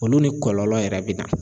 Olu ni kɔlɔlɔ yɛrɛ be na.